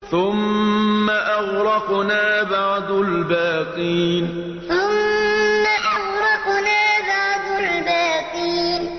ثُمَّ أَغْرَقْنَا بَعْدُ الْبَاقِينَ ثُمَّ أَغْرَقْنَا بَعْدُ الْبَاقِينَ